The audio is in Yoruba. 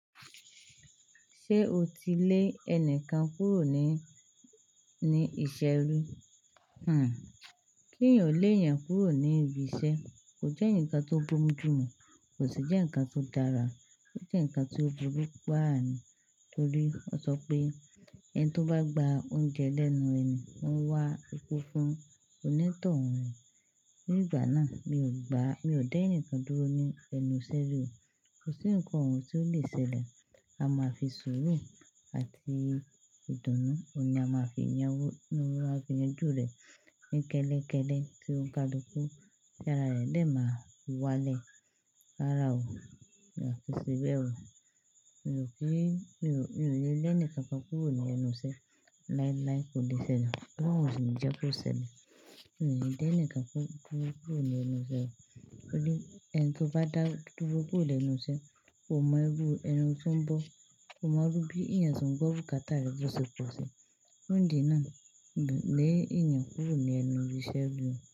Ṣé o ti lé ẹni kan kúrò ní, ní iṣẹ́ rí? Hmm. Kí ń yóò lé èèyàn kúrò ní ibi iṣẹ́ kò jẹ́ ǹkan tó gbómujùmu, kò sì jẹ́ ǹkan tó dára. Ó jẹ́ ǹkan tí ó burú paa àní torí ó sọ pé ẹni tó bá gba oúnjẹ lẹ́nu ẹni, ó ń wá ikú fún onítọ̀hún rẹ̀. Ní ìgbà náà mi ò gbá, mi ò dá ẹnìkan dúró ní ẹnu iṣẹ́ rí. Kò sí ǹkan ohun tí ó lè ṣẹlẹ̀. A máa fi sùúrù àti ìdùnnú, òun ni a máa fi yanjú rẹ̀ ní kẹ́lékẹ́lẹ́ tí ó'ńkalukú. Tí ara rẹ̀ dẹ́ máa wá lé, rárá o, a kò ṣe bẹ o. Mi ò kí, mi ò, mi ò le lé ẹnìkan kan kúrò ní ẹnu iṣẹ́ láíláí, kò lè ṣẹlẹ̀. Òlo'un ò sì ń jẹ́kí ó ṣẹlẹ̀. Mi ò lè dé ẹnìkan dúrò ní ẹnu iṣẹ́ rí torí ẹni tó bá dá dúró bọ̀ lẹ́nu iṣẹ́, kò mọ ibú ẹni tí ó ń bọ̀, kò mọ bí ẹ̀yàn tí ó ń gbọ́ bukata rẹ̀ ó ṣe pọ̀ si. Fun ìdí náà, mi ò lè lé ẹ̀yàn kúrò ní ẹnu ibi iṣẹ́ rí.